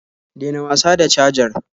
Dena wasa da cajar